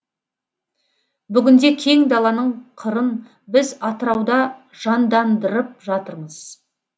бүгінде кең даланың қырын біз атырауда жандандырып жатырмыз